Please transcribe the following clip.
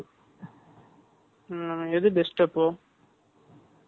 8 . ம், எது best அப்போ?